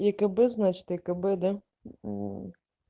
екб значит екб да мм